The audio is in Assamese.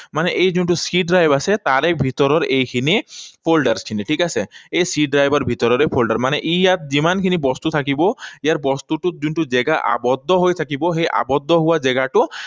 মানে এই যোনটো C drive আছে, তাৰে ভিতৰৰ এইখিনি folder খিনি, ঠিক আছে? এই C drive ৰ ভিতৰৰে folder, মানে ই ইয়াত যিমানখিনি বস্তু থাকিব, ইয়াৰ বস্তুটোত যোনটো জেগা আবদ্ধ হৈ থাকিব, সেই আবদ্ধ হোৱা জেগাটো